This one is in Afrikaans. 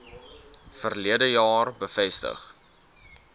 verlede jaar bevestig